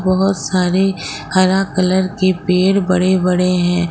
बहुत सारे हरा कलर के पेड़ बड़े बड़े हैं।